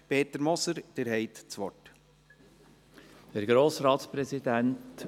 Peter Moser, Sie haben das Wort.